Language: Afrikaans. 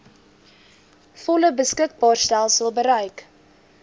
volle beskikbaarstelling bereik